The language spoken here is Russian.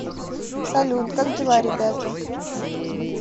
салют как дела ребята